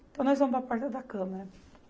Então, nós vamos para a porta da câmara.